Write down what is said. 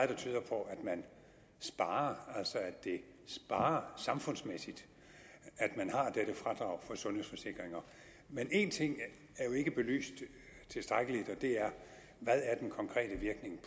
der tyder på at man sparer altså at det sparer samfundsmæssigt at man har dette fradrag for sundhedsforsikringer men én ting er jo ikke belyst tilstrækkeligt og det er hvad den konkrete virkning